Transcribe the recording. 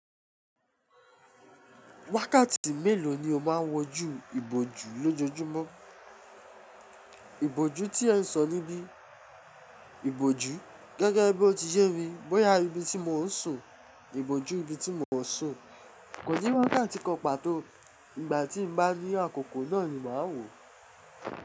Wákàtí mélòó ni o máà ń wojú ìbòjú lójojúmọ́? Ìbòjú tí ẹ ń sọ níbí, ìbòjú gẹ́gẹ́ bí o ti yé mi, bóyá ibi tí mò ń sùn, ìbòjú ibi tí mò ń sùn, kò sí wákàtí kan pàtó ìgbà tí n bá rí àkókò náà ni màá wò.